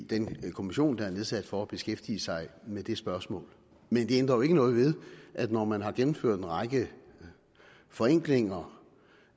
den kommission der er nedsat for at beskæftige sig med det spørgsmål men det ændrer jo ikke noget ved at når man har gennemført en række forenklinger